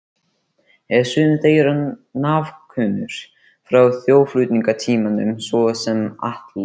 Eru sumir þeirra nafnkunnir frá þjóðflutningatímanum, svo sem Atli